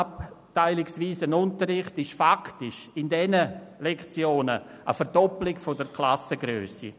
Unterricht entspricht faktisch in diesen Lektionen einer Verdoppelung der Klassengrössen.